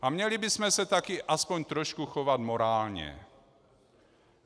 A měli bychom se taky aspoň trošku chovat morálně.